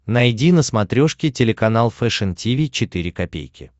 найди на смотрешке телеканал фэшн ти ви четыре ка